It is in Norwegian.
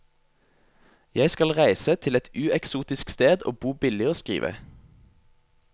Jeg skal reise til et ueksotisk sted og bo billig og skrive.